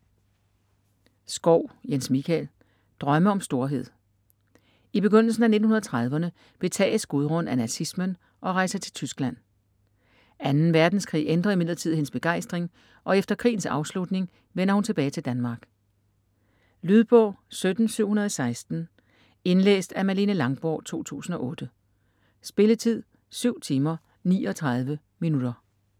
Schau, Jens Michael: Drømme om storhed I begyndelsen af 1930'erne betages Gudrun af nazismen og rejser til Tyskland. 2. verdenskrig ændrer imidlertid hendes begejstring, og efter krigens afslutning vender hun tilbage til Danmark. Lydbog 17716 Indlæst af Malene Langborg, 2008. Spilletid: 7 timer, 39 minutter.